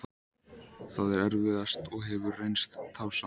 Það er erfiðast og hefur reynst tafsamt.